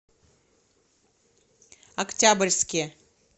октябрьске